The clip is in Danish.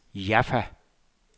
Jaffa